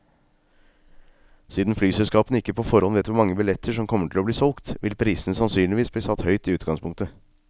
Siden flyselskapene ikke på forhånd vet hvor mange billetter som kommer til å bli solgt, vil prisene sannsynligvis bli satt høyt i utgangspunktet.